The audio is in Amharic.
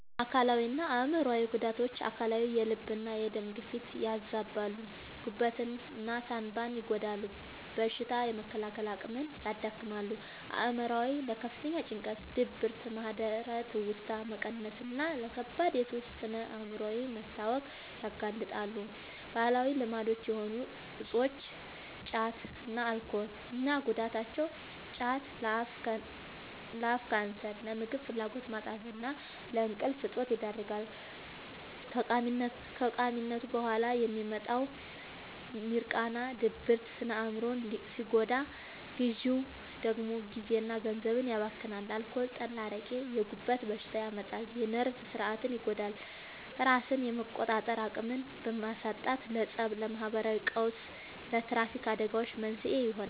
አካላዊና አእምሯዊ ጉዳቶች፦ አካላዊ፦ የልብና የደም ግፊትን ያዛባሉ፣ ጉበትና ሳንባን ይጎዳሉ፣ በሽታ የመከላከል አቅምን ያዳክማሉ። አእምሯዊ፦ ለከፍተኛ ጭንቀት፣ ድብርት፣ ማህደረ-ትውስታ መቀነስና ለከባድ የሱስ ስነ-አእምሯዊ መታወክ ያጋልጣሉ። ባህላዊ ልማድ የሆኑ እፆች (ጫትና አልኮል) እና ጉዳታቸው፦ ጫት፦ ለአፍ ካንሰር፣ ለምግብ ፍላጎት ማጣትና ለእንቅልፍ እጦት ይዳርጋል። ከቃሚነቱ በኋላ የሚመጣው «ሚርቃና» (ድብርት) ስነ-አእምሮን ሲጎዳ፣ ግዢው ደግሞ ጊዜና ገንዘብን ያባክናል። አልኮል (ጠላ፣ አረቄ)፦ የጉበት በሽታ ያመጣል፣ የነርቭ ሥርዓትን ይጎዳል፤ ራስን የመቆጣጠር አቅምን በማሳጣትም ለፀብ፣ ለማህበራዊ ቀውስና ለትራፊክ አደጋዎች መንስኤ ይሆናል።